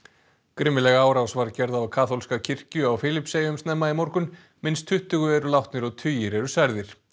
grimmileg árás var gerð á kaþólska kirkju á Filippseyjum snemma í morgun minnst tuttugu eru látnir og tugir eru særðir